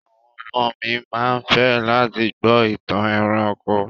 Àwọn ọmọ mi ma fẹ́ láti gbọ́ ìtàn ẹranko.